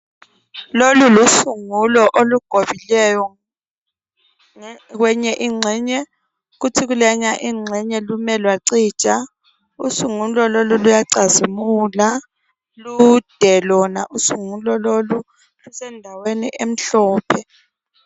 lolu lusungulo olugobileyo kweyinye inxenye kuthi kuleyana inxene lume lwacija usungulo lolu luyacazimula lude lona usungulo lolo lusendawei emhlophe